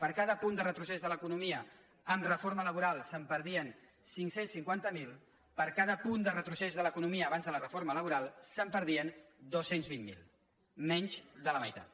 per cada punt de retrocés de l’economia amb reforma laboral se’n perdien cinc cents i cinquanta miler per cada punt de retrocés de l’economia abans de la reforma laboral se’n perdien dos cents i vint miler menys de la meitat